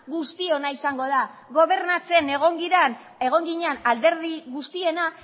guztiona izango da gobernatzen egon ginen alderdi guztiena